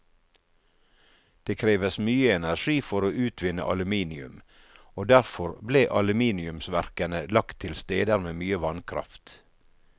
Det kreves mye energi for å utvinne aluminium, og derfor ble aluminiumsverkene lagt til steder med mye vannkraft.